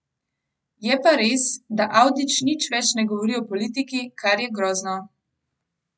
Je pa res, da Avdić nič več ne govori o politiki, kar je grozno.